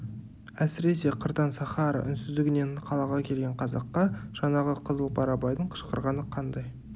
әсіресе қырдан сахара үнсіздігінен қалаға келген қазаққа жаңағы қызыл барабайдың қышқырғаны қандай